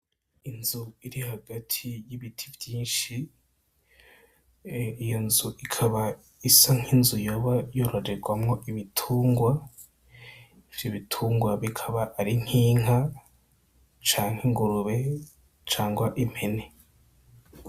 Inzu iri hagati y'ibiti vyishi iyonzu ikaba isa nk'inzu yoba yororerwamwo ibitungwa ivyo bitungwa bikaba ari nk'inka canke ingurube cangwa impene.